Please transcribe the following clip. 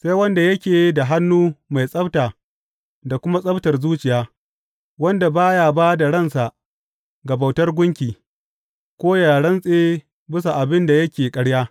Sai wanda yake da hannu mai tsabta da kuma tsabtar zuciya, wanda ba ya ba da ransa ga bautar gunki ko ya rantse bisa abin da yake ƙarya.